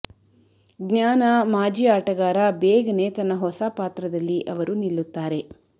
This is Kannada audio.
ಜ್ಞಾನ ಮಾಜಿ ಆಟಗಾರ ಬೇಗನೆ ತನ್ನ ಹೊಸ ಪಾತ್ರದಲ್ಲಿ ಅವರು ನಿಲ್ಲುತ್ತಾರೆ